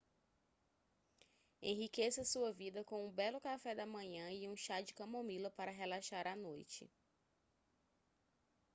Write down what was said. enriqueça sua vida com um belo café da manhã e um chá de camomila para relaxar à noite